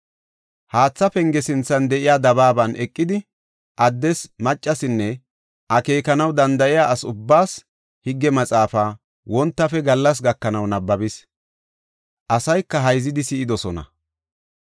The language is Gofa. Haatha Penge sinthan de7iya dabaaban eqidi, addes, maccasinne akeekanaw danda7iya ase ubbaas Higge Maxaafa wontafe gallas gakanaw nabbabis. Asayka hayzidi si7idosona.